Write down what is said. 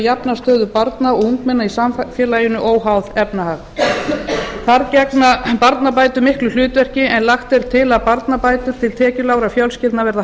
jafna stöðu barna og ungmenna í samfélaginu óháð efnahag þar gegna barnabætur miklu hlutverki en lagt er til að barnabætur til tekjulágra fjölskyldna verði